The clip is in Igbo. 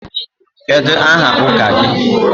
Kedu aha ụka gị?